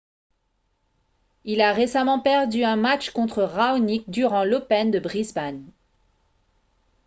il a récemment perdu un match contre raonic durant l'open de brisbane